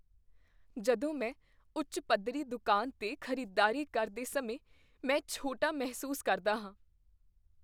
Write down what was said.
ਜਦੋਂ ਮੈਂ ਉੱਚ ਪੱਧਰੀ ਦੁਕਾਨ 'ਤੇ ਖ਼ਰੀਦਦਾਰੀ ਕਰਦੇ ਸਮੇਂ ਮੈਂ ਛੋਟਾ ਮਹਿਸੂਸ ਕਰਦਾ ਹਾਂ।